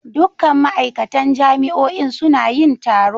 Dukkan ma'aikatan jami'o'in suna yin taro.